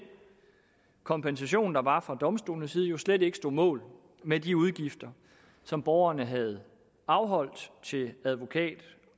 kompensation der var fra domstolenes side jo slet ikke stod mål med de udgifter som borgeren havde afholdt til advokat